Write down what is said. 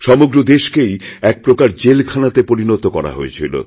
সমগ্র দেশকেই একপ্রকার জেলখানাতেপরিণত করা হয়েছিল